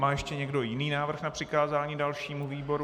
Má ještě někdo jiný návrh na přikázání dalšímu výboru?